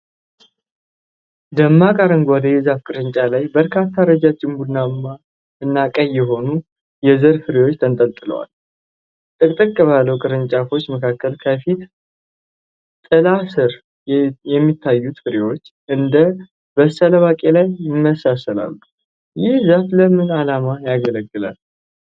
ደማቅ አረንጓዴ የዛፍ ቅርንጫፍ ላይ በርካታ ረዣዥም ቡናማ እና ቀይ የሆኑ የዘር ፍሬዎች ተንጠልጥለዋል። ጥቅጥቅ ባለው ቅርንጫፎች ምክንያት ከፊል ጥላ ስር የሚታዩት ፍሬዎቹ፣ እንደ በሰለ ባቄላ ይመስላሉ፣ ይህ ዛፍ ለምን ዓላማ ያገለግላል?